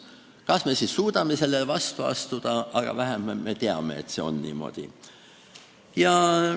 Kas me siis suudame sellele vastu astuda, see on teine asi, aga vähemalt me teame, et see on niimoodi.